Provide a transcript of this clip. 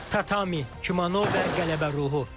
Tatami, kimono və qələbə ruhu.